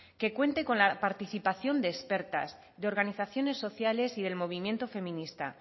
que cuente con la participación de expertas de organizaciones sociales y del movimiento feminista